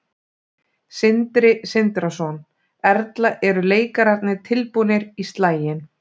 Sindri Sindrason: Erla eru leikararnir tilbúnir í slaginn?